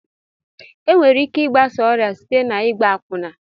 Enwere ike igbasa ọrịa site n'igba akwụna.